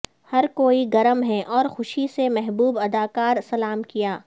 ہر کوئی گرم ہے اور خوشی سے محبوب اداکار سلام کیا